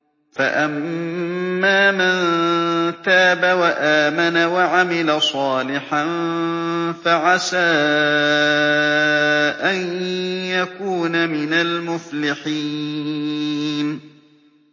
فَأَمَّا مَن تَابَ وَآمَنَ وَعَمِلَ صَالِحًا فَعَسَىٰ أَن يَكُونَ مِنَ الْمُفْلِحِينَ